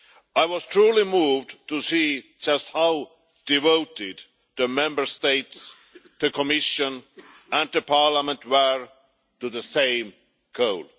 I was truly moved to see just how devoted the Member States, the Commission and Parliament were to the same code.